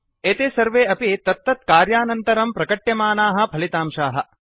एते सर्वे अपि तत्तत्कार्यानन्तरम् प्रकट्यमानाः फलितांशाः